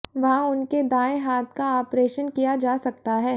वहां उनके दाएं हाथ का आपरेशन किया जा सकता है